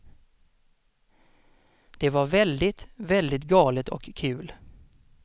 Det var väldigt, väldigt galet och kul.